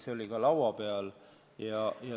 See oli laua peal.